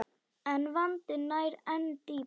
En vandinn nær enn dýpra.